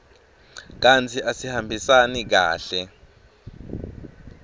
kantsi asihambisani kahle